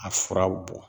A furaw bɔ